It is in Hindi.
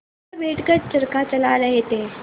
वह बैठ कर चरखा चला रहे थे